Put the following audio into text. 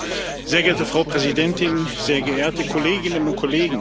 Sehr geehrte Frau Präsidentin, sehr geehrte Kolleginnen und Kollegen!